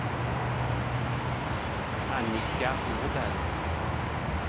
Annika Åberg